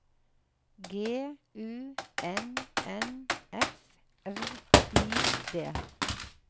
G U N N F R I D